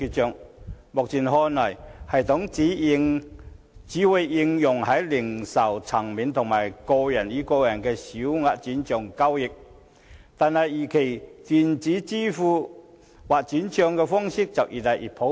從目前看來，這系統只會應用於零售層面和個人與個人之間的小額轉帳，但我們預期電子支付或轉帳的方式會越來越普遍。